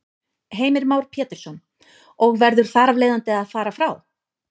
Heimir Már Pétursson: Og verður þar af leiðandi að fara frá?